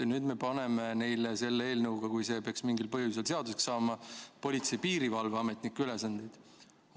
Nüüd me paneme neile selle eelnõuga, kui see peaks mingil põhjusel seaduseks saama, politsei- ja piirivalveametniku ülesandeid.